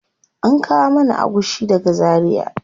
An kawo mana agushi daga zaria.